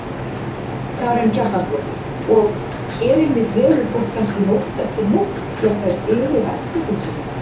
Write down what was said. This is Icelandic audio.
Karen Kjartansdóttir: Og, hér inni dvelur fólk kannski nótt eftir nótt jafnvel, yfir ættingjum sínum?